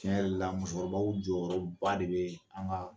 Cɛn yɛrɛ la musokɔrɔbaw jɔyɔrɔ ba de bɛ an ka